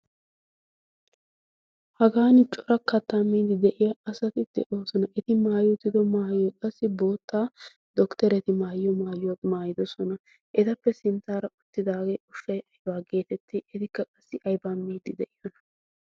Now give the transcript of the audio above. hagan cora kattaa miidi de'iya asati de'oosona eti maay utido maayyo qassi bootta dokttereti maayiyo maayiyo maayidosona etappe sinttaara uttidaagee ufei aiwaa geetetti etikka qassi aiba miidi de'iyona